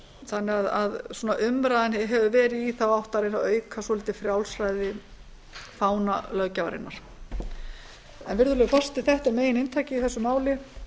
þannig að umræðan hefur verið í þá átt að reyna að auka svolítið frjálsræði fánalöggjafarinnar virðulegi forseti þetta er megininntakið í þessu máli